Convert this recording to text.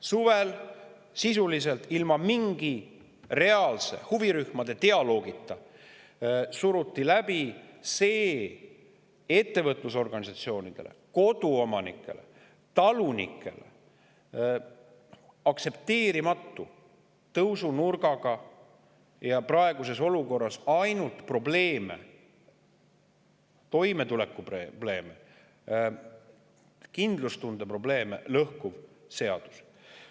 Suvel sisuliselt ilma mingi reaalse dialoogita huvirühmadega suruti läbi see ettevõtlusorganisatsioonidele, koduomanikele ja talunikele aktsepteerimatu tõusunurgaga ning praeguses olukorras toimetulekuprobleeme ja kindlustunde probleeme ainult seadus.